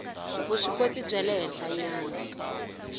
vuswikoti bya le henhlanyana